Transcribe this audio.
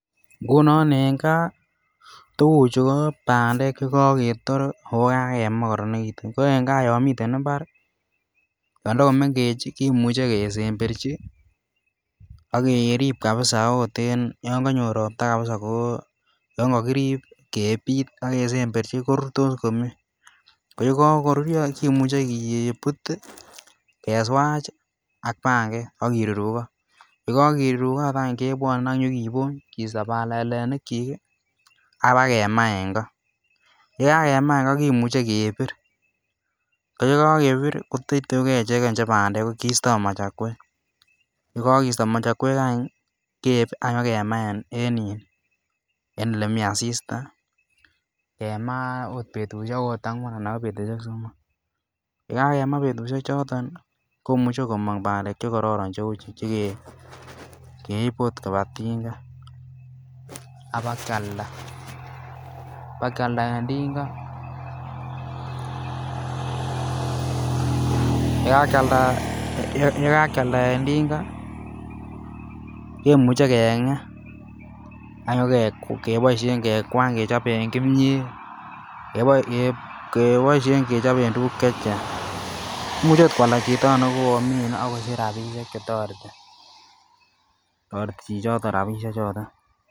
Ngunon en gaa tuguchu ko bandek che koketor ak kemaa ko korononekitun ko en gaa yomiten imbar kimuche kesemberji ak keib kabisa ot yon konyo ropta kabisa ko yon kokirib kepit ak kesemberji korurtos komie ko yego koruryo kimuche keput ii keswaj ak panget ak kirurugot. Ye kirurugot kebwone ak nyokibony kisto balalenikyik ii ak bakemaa en ngo. Ye kakemaa en ngo kimuche kebir ko yegokebir ko teyteugee ichegen che bandek kisto machakwek. Ye kokisto machakwek any ii keib ak nyokemaa en elemii asista. Kemaa ot betushek angwan ana ko betushek somok. Ye kakemaa betushek choton komoche komong bandek che kororon che uu chu keib chegeibe ot kobaa tingaa ak bakyalda en tinga. Yee kakiylanda en tinga kemuche kemuche kenge ak nyo keboishen kekwany kechoben kimyet keboishen kechoben tuguk chechang, imuche ot kwalda chito ne komine ak kosich rabishek che toreti, kotoret chi choton rabishe choton